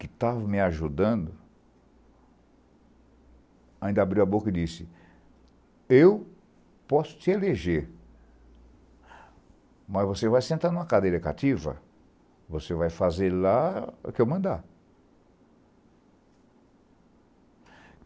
que estava me ajudando, ainda abriu a boca e disse, eu posso te eleger, mas você vai sentar em uma cadeira cativa, você vai fazer lá o que eu mandar.